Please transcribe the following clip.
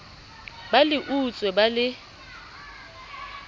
ba le utswe ba le